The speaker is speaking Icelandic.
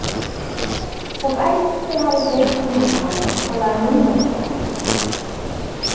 Þótt æxli hafi dreifst um líkamann er talað um lungnakrabbamein.